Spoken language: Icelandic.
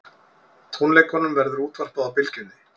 Tónleikunum verður útvarpað á Bylgjunni